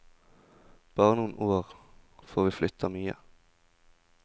Bare noen år, for vi flyttet mye.